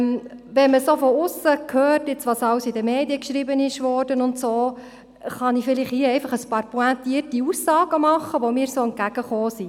Wenn man von aussen sieht, was alles in den Medien darüber geschrieben wurde, kann ich hier einfach ein paar pointierte Aussagen machen, welche mir begegnet sind.